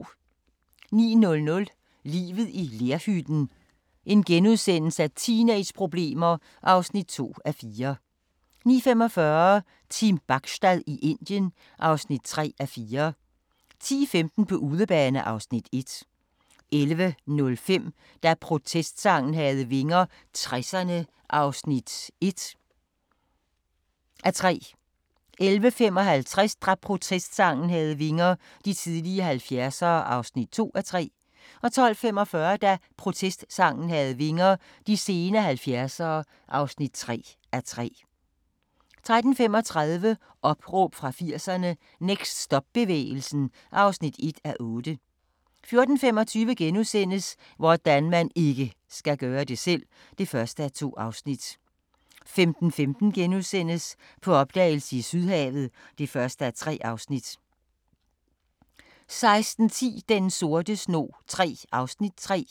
09:00: Livet i lerhytten – teenageproblemer (2:4)* 09:45: Team Bachstad i Indien (3:4) 10:15: På udebane (Afs. 1) 11:05: Da protestsangen havde vinger - 60'erne (1:3) 11:55: Da protestsangen havde vinger - de tidligere 70'ere (2:3) 12:45: Da protestsangen havde vinger - de sene 70'ere (3:3) 13:35: Opråb fra 80'erne - Next stop-bevægelsen (1:8) 14:25: Hvordan man IKKE skal gøre det selv! (1:2)* 15:15: På opdagelse i Sydhavet (1:3)* 16:10: Den sorte snog III (3:6)